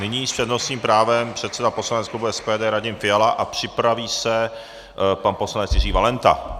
Nyní s přednostním právem předseda poslaneckého klubu SPD Radim Fiala a připraví se pan poslanec Jiří Valenta.